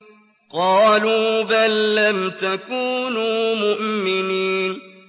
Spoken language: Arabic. قَالُوا بَل لَّمْ تَكُونُوا مُؤْمِنِينَ